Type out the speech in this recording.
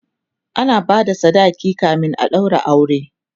ana bada sadaki kamin a ɗaura aure